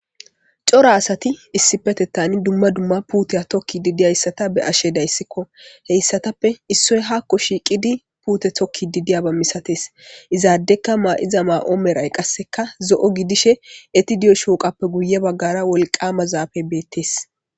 Cora asati issi petettani dumma dumma puuteya tokki didiyayssata be ashe dayssikko heyssatappe issoy hakko shiiqidi puute tokki didiya ba misates izaadekka maa'iza maa'oo meray qasseka zo'o gidishe etidiyo shooqappe guye baggara wolqama zaafe beettees.